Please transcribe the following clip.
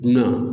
Dunan